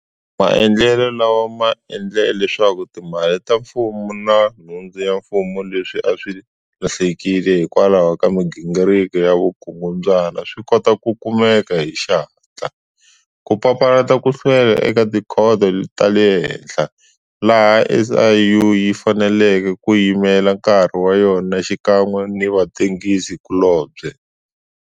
Maendlelo lawa ma endle leswaku timali ta mfumo na nhundzu ya mfumo leswi a swi lahlekile hikwalaho ka migingiriko ya vukungundzwana swi kota ku kumeka hi xihatla, ku papalata ku hlwela eka tikhoto ta le henhla, laha SIU yi faneleke ku yimela nkarhi wa yona xikan'we ni vatengisi kulobye.